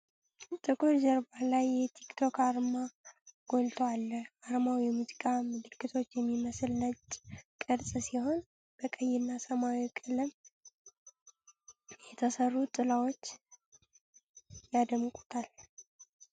ጥቁር ጀርባ ላይ የቲክ ቶክ አርማው ጎልቶ አለ። አርማው የሙዚቃ ምልክት የሚመስል ነጭ ቅርጽ ሲሆን፣ በቀይና ሰማያዊ ቀለም የተሰሩ ጥላዎች ያደምቁታል።